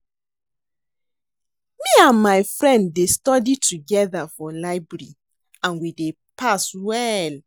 Me and my friend dey study together for library and we dey pass well